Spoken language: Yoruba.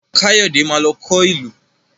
Káyọ̀dé má lọ kọ ìlù